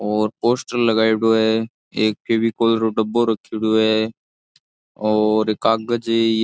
और पोस्टर लगाएडो है एक फेविकोल रो डब्बा रखेड़ो है और कागज है।